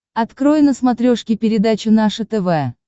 открой на смотрешке передачу наше тв